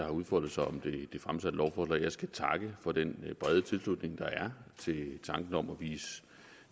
har udfoldet sig om det fremsatte lovforslag jeg skal takke for den brede tilslutning der er til tanken om at vise